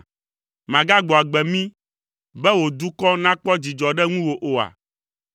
Màgagbɔ agbe mí, be wò dukɔ nàkpɔ dzidzɔ ɖe ŋuwò oa?